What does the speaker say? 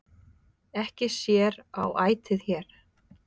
Ekki sér á ætið hér,